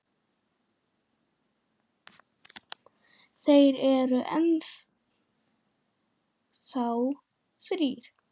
Þeir eru enn þá þrír.